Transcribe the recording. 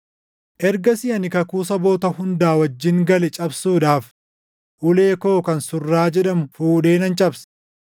Ergasii ani kakuu saboota hunda wajjin gale cabsuudhaaf ulee koo kan Surraa jedhamu fuudhee nan cabse.